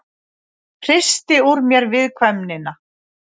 Hristi úr mér viðkvæmnina.